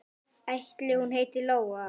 Ætli hún heiti Lóa?